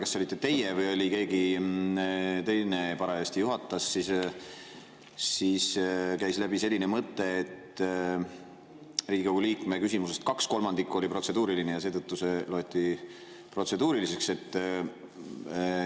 Ma ei mäleta, kas see olite teie või keegi teine parajasti juhatas, kui käis läbi selline mõte, et kuna Riigikogu liikme küsimusest kaks kolmandikku oli protseduuriline, siis seetõttu see loeti protseduuriliseks.